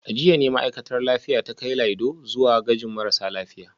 A jiya ne ma’aikatar lafiya ta kai Laido zuwa gajin marasa lafiya